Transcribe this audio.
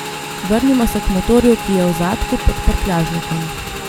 Vrnimo se k motorju, ki je v zadku pod prtljažnikom.